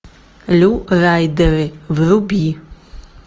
лю райдеры вруби